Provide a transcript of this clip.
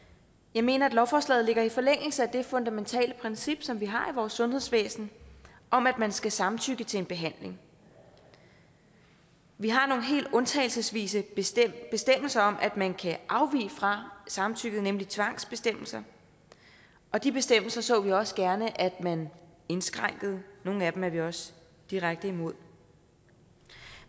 jeg mener at lovforslaget ligger i forlængelse af det fundamentale princip som vi har i vores sundhedsvæsen om at man skal samtykke til en behandling vi har nogle helt undtagelsesvise bestemmelser bestemmelser om at man kan afvige fra samtykket nemlig trangsbestemmelser og de bestemmelser så vi også gerne at man indskrænkede nogle af dem er vi også direkte imod